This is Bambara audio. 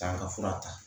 Taa ka fura ta